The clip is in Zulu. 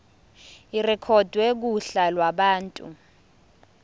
irekhodwe kuhla lwabantu